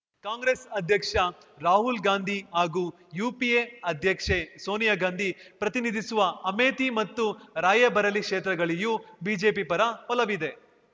ಕಾಂಗ್ರೆಸ್ ಅಧ್ಯಕ್ಷ ರಾಹುಲ್ ಗಾಂಧಿ ಹಾಗೂ ಯುಪಿಎ ಅಧ್ಯಕ್ಷೆ ಸೋನಿಯಾ ಗಾಂಧಿ ಪ್ರತಿನಿಧಿಸುವ ಅಮೇಥಿ ಮತ್ತು ರಾಯ್‌ಬರೇಲಿ ಕ್ಷೇತ್ರಗಳಲ್ಲಿಯೂ ಬಿಜೆಪಿ ಪರ ಒಲವಿದೆ